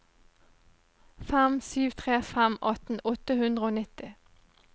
fem sju tre fem atten åtte hundre og nitti